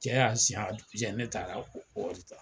Cɛ y'a a jugujɛ ne taara o wari ta.